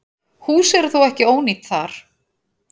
Hús eru þó ekki ónýt þar.